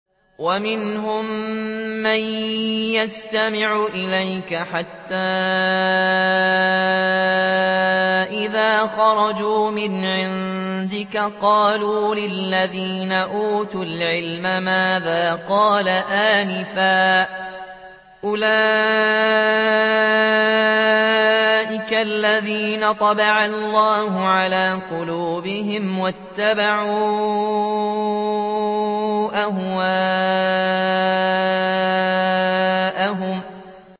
وَمِنْهُم مَّن يَسْتَمِعُ إِلَيْكَ حَتَّىٰ إِذَا خَرَجُوا مِنْ عِندِكَ قَالُوا لِلَّذِينَ أُوتُوا الْعِلْمَ مَاذَا قَالَ آنِفًا ۚ أُولَٰئِكَ الَّذِينَ طَبَعَ اللَّهُ عَلَىٰ قُلُوبِهِمْ وَاتَّبَعُوا أَهْوَاءَهُمْ